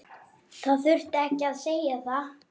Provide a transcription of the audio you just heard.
Það þurfti ekkert að segja.